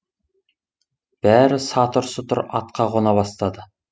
бәрі сатыр сұтыр атқа қона бастады